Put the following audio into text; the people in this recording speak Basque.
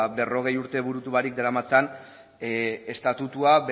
berrogei urte burutu barik daramatzan estatutua